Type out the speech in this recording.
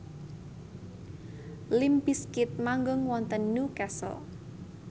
limp bizkit manggung wonten Newcastle